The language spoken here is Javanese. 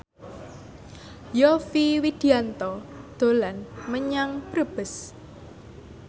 Yovie Widianto dolan menyang Brebes